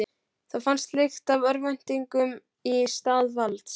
Það fannst lykt af örvæntingu í stað valds.